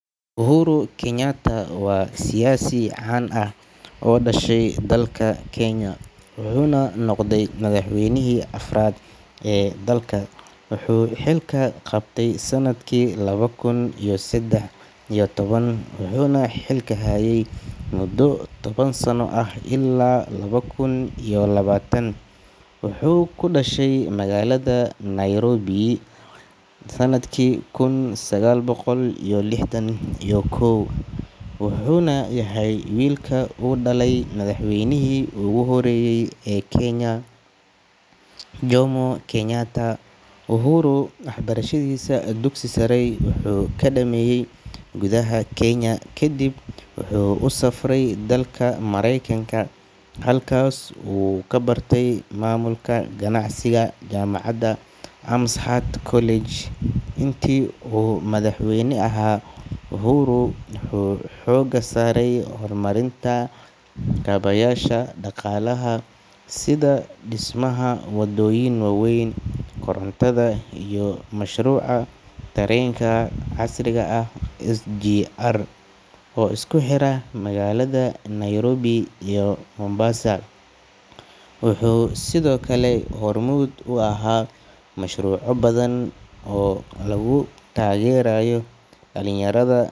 Uhuru Kenyatta waa siyaasi caan ah oo u dhashay dalka Kenya, wuxuuna noqday madaxweynihii afraad ee dalka. Wuxuu xilka qabtay sanadkii laba kun iyo saddex iyo toban wuxuuna xilka hayay muddo toban sano ah illaa laba kun iyo labaatan. Wuxuu ku dhashay magaalada Nairobi sanadkii kun sagaal boqol iyo lixdan iyo kow, wuxuuna yahay wiilka uu dhalay madaxweynihii ugu horeeyay ee Kenya, Jomo Kenyatta. Uhuru waxbarashadiisa dugsiga sare wuxuu ku dhameeyay gudaha Kenya, kadibna wuxuu u safray dalka Mareykanka halkaas oo uu ka bartay maamulka ganacsiga jaamacadda Amherst College. Intii uu madaxweyne ahaa, Uhuru wuxuu xooga saaray horumarinta kaabayaasha dhaqaalaha sida dhismaha wadooyin waaweyn, korontada, iyo mashruuca tareenka casriga ah ee SGR Standard Gauge Railway oo isku xira magaalada Nairobi iyo Mombasa. Wuxuu sidoo kale hormuud u ahaa mashruucyo badan oo lagu taageerayo dhalinyarada.